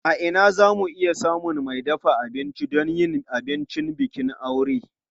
A ina za mu iya samun mai dafa abinci don yin abincin bikin aure?